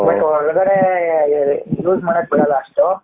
but ಒಳಗಡೆ use ಮಾಡಕೆ ಬಿಡಲ್ಲ ಅಸ್ಟು .